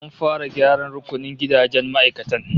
An fara gyaran rukunin gidajen ma'aikatan